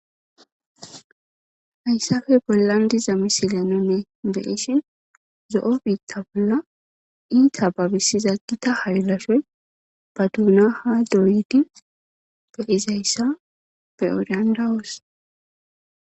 Haysape bolan diza missilen nuni be'ishin zo'o bita bola ita babisiza gita haylashoy ba duna ha doyidi be'izaysa be'o danda'os.